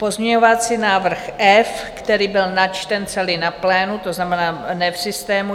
Pozměňovací návrh F, který byl načten celý na plénu, to znamená, ne v systému.